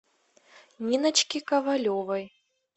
ниночке ковалевой